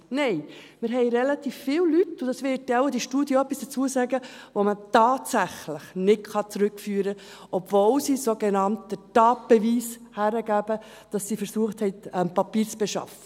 Nein! Wir haben relativ viele Leute – und da wird dann wohl die Studie etwas dazu sagen –, die man tatsächlich nicht zurückführen kann, obwohl sie einen sogenannten Tatbeweis hergeben, dass sie versucht haben, die Papiere zu beschaffen.